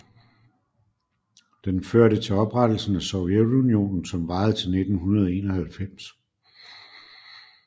Den førte til oprettelsen af Sovjetunionen som varede til 1991